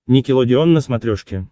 никелодеон на смотрешке